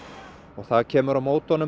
og það kemur á móti honum